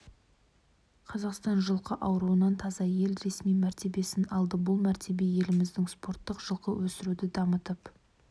қазақстан жылқы ауруынан таза ел ресми мәртебесін алды бұл мәртебе еліміздің спорттық жылқы өсіруді дамытып